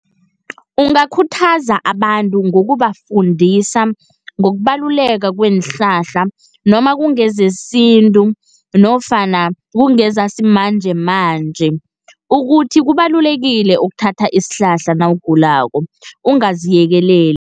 Ungakhuthaza abantu ngokubafundisa ngokubaluleka kweenhlahla, noma kungezesintu nofana kungezesimanjemanje, ukuthi kubalulekile ukuthatha isihlahla nawugulako ungaziyekeleli.